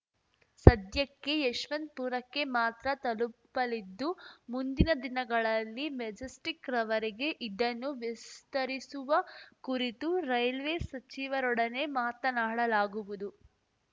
ಸದ್ಯಕ್ಕೆ ಯಶವಂತಪುರಕ್ಕೆ ಮಾತ್ರ ತಲುಪಲಿದ್ದು ಮುಂದಿನ ದಿನಗಳಲ್ಲಿ ಮೆಜೆಸ್ಟಿಕ್‌ರವರೆಗೆ ಇದನ್ನು ವಿಸ್ತರಿಸುವ ಕುರಿತು ರೈಲ್ವೆ ಸಚಿವರೊಡನೆ ಮಾತನಾಡಲಾಗುವುದು